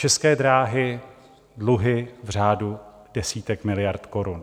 České dráhy - dluhy v řádu desítek miliard korun.